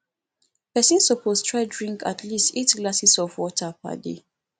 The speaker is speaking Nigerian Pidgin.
pesin suppose try drink at least eight glasses of water per day